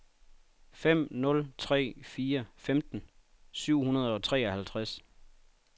fem nul tre fire femten syv hundrede og treoghalvtreds